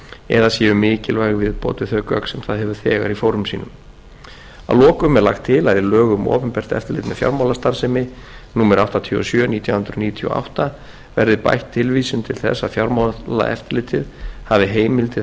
eða séu mikilvæg viðbót við þau gögn sem það hefur þegar í fórum sínum að lokum er lagt til að í lög um opinbert eftirlit með fjármálastarfsemi númer áttatíu og sjö nítján hundruð níutíu og átta verði bætt tilvísun til þess að fjármálaeftirlitið hafi heimild til